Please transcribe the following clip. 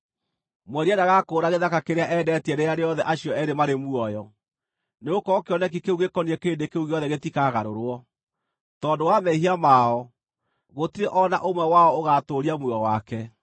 Mwendia ndagakũũra gĩthaka kĩrĩa endetie rĩrĩa rĩothe acio eerĩ marĩ muoyo, nĩgũkorwo kĩoneki kĩu gĩkoniĩ kĩrĩndĩ kĩu gĩothe gĩtikagarũrwo. Tondũ wa mehia mao, gũtirĩ o na ũmwe wao ũgaatũũria muoyo wake.